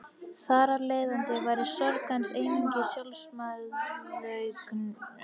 Þar af leiðandi væri sorg hans einungis sjálfsmeðaumkun.